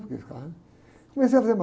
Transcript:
Porque ficava... Comecei a fazer massagem.